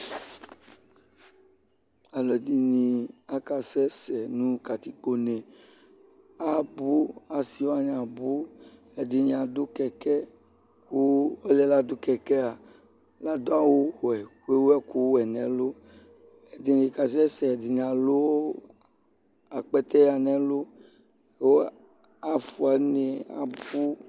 ɔlɔdini aka sɛ- sɛ nu katikpo ne, abu asi wani asi wani ɛɖini adu kɛkɛ ku ɔluɛ lã du kɛkɛa la du awu wɛ ku ewu ɛku wɛ nɛ lu edini ka sɛ ɛdini alu akpɛtɛ wɛ n'ɛlu ku afua nu une abu